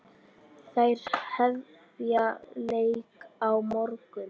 Þær hefja leik á morgun.